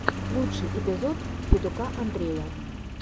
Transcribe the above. лучший эпизод федука андрея